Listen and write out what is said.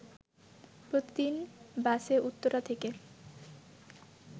প্রতিদিন বাসে উত্তরা থেকে